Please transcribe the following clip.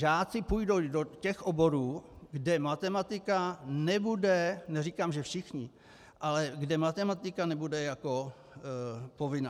Žáci půjdou do těch oborů, kde matematika nebude, neříkám že všichni, ale kde matematika nebude jako povinná.